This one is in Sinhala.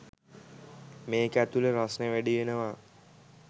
මේක ඇතුළෙ රස්නෙ වැඩි වෙනවා.